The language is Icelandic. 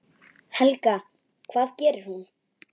Helga: Hvað gerir hún?